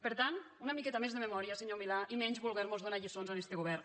per tant una miqueta més de memòria senyor milà i menys voler mos donar lliçons a este govern